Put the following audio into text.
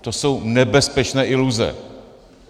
To jsou nebezpečné iluze.